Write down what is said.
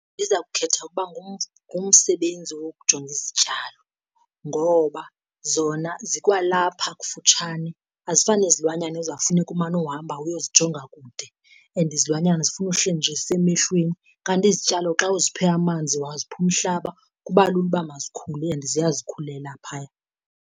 Ndiza kukhetha ukuba ngumsebenzi wokujonga izityalo ngoba zona zikwalapha kufutshane azifani nezilwanyana ekuzawufuneka umane uhamba uyozijonga kude. And izilwanyana zifuna uhleli nje zisemehlweni, kanti izityalo xa uziphe amanzi wazipha umhlaba kuba lula uba mazikhule and ziyazikhulela phaya.